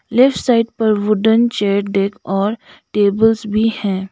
Left side पर wooden chair deck और tables भी हैं।